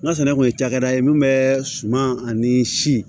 N ka sɛnɛ kun ye cakɛda ye min bɛ suman ani si